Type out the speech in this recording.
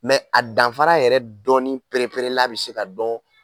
a danfara yɛrɛ dɔnni pereperela bɛ se ka dɔn